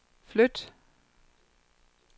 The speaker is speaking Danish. flyt